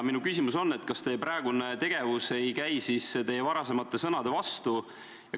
Minu küsimus on: kas teie praegune tegevus ei käi teie varasemate sõnade vastu?